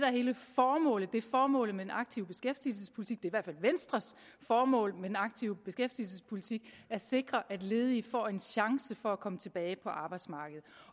er hele formålet det er formålet med den aktive beskæftigelsespolitik det hvert fald venstres formål med den aktive beskæftigelsespolitik at sikre at ledige får en chance for at komme tilbage på arbejdsmarkedet